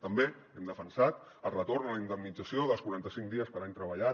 també hem defensat el retorn a la indemnització dels quaranta cinc dies per any treballat